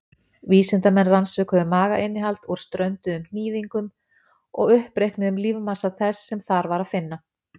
Vísindamenn rannsökuðu magainnihald úr strönduðum hnýðingum og uppreiknuðu lífmassa þess sem þar var að finna.